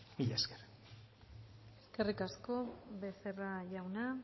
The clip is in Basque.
mila esker eskerrik asko becerra jauna